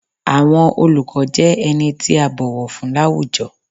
Àwọn oluko jẹ ení ti a bọwọ fun lawújọ́